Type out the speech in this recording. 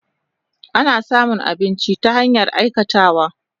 Ana samun aminci ta hanyar aikatawa.